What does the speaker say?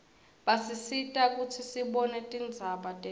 basisita kutsi sibone tindzaba telive